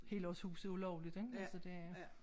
Helårshuset ulovligt ikke altså det